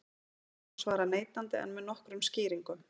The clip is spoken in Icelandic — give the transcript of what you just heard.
spurningunni má svara neitandi en með nokkrum skýringum